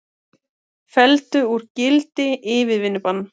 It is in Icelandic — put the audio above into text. Felldu úr gildi yfirvinnubann